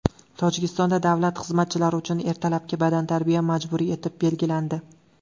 Tojikistonda davlat xizmatchilari uchun ertalabki badantarbiya majburiy etib belgilandi.